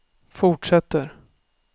fortsätter